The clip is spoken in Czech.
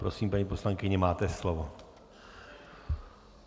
Prosím, paní poslankyně, máte slovo.